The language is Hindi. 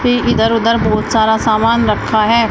ये इधर उधर बहुत सारा सामान रखा है।